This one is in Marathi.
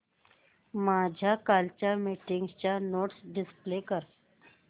माझ्या कालच्या मीटिंगच्या नोट्स डिस्प्ले कर